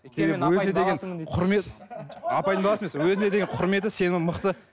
өйткені өзіне деген құрмет апайдың баласы емес өзіне деген құрметі сенімі мықты